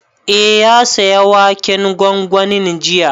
Eh, ya saya waken gwangwanin jiya